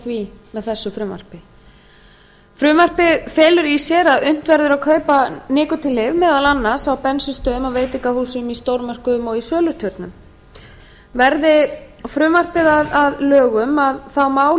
því með þessu frumvarpi frumvarpið felur í sér að unnt verður að kaupa nikótínlyf meðal annars á bensínstöðvum á veitingastöðum í stórmörkuðum og í söluturnum verði frumvarpið að lögum má